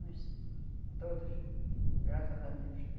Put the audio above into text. Nós todos, graças a Deus.